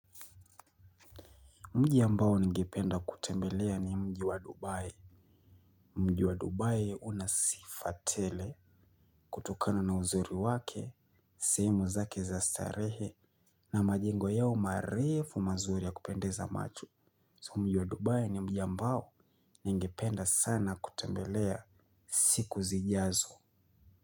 Mji ambao ningependa kutembelea ni mji wa Dubai. Mji wa Dubai unasifa tele kutokana na uzuri wake, sehemu zake za starehe na majengo yao marefu mazuri ya kupendeza macho. Mji wa Dubai ni mji ambao ningependa sana kutembelea siku zijazo.